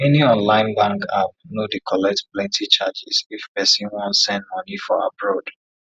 many online bank app no dey collect plenti charges if pesin wan send money for abroad